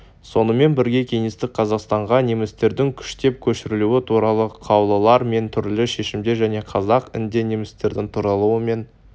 сонымен бірге кеңестік қазақстанға немістердің күштеп көшірілуі туралы қаулылар мен түрлі шешімдер және қазақ інде немістердің таралуы мен